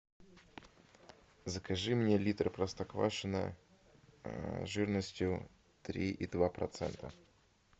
закажи мне литр простоквашино жирностью три и два процента